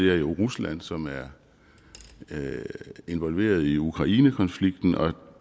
jo rusland som er involveret i ukrainekonflikten og